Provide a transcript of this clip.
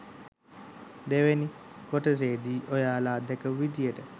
දෙවෙනි කොටසේදී ඔයාලා දැකපු විදියට